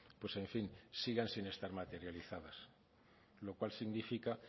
pues en fin sigan sin estar materializadas lo cual significa